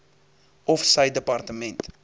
of sy departement